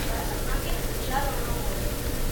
पर असां खे होशियारु रहिणो पवे थो।